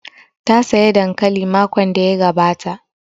Ta saya dankali makon da ya gabata